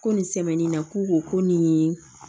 Ko nin sɛmɛnni na k'u ko ko nin ye